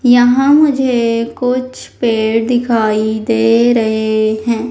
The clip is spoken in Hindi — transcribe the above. यहां मुझे कुछ पेड़ दिखाई दे रहे हैं।